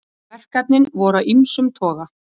Verkefnin voru af ýmsum toga